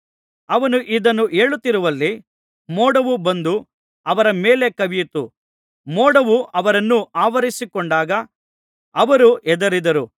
ಅವನು ಇದನ್ನು ಹೇಳುತ್ತಿರುವಲ್ಲಿ ಮೋಡವು ಬಂದು ಅವರ ಮೇಲೆ ಕವಿಯಿತು ಮೋಡವು ಅವರನ್ನು ಆವರಿಸಿಕೊಂಡಾಗ ಅವರು ಹೆದರಿದರು